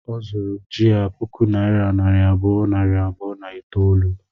Ọ zuru ji a puku naira nari abụọ, nari abụọ na itoolu